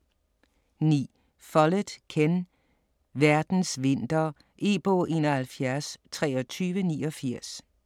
9. Follett, Ken: Verdens vinter E-bog 712389